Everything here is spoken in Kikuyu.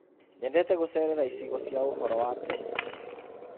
Nyendete gũcerera icigo cia ũhoro wa tene.